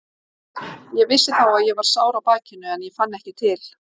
Ég vissi þá að ég var sár á bakinu en ég fann ekki til.